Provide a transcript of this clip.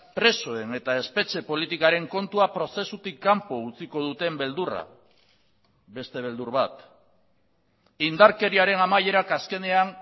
presoen eta espetxe politikaren kontua prozesutik kanpo utziko duten beldurra beste beldur bat indarkeriaren amaierak azkenean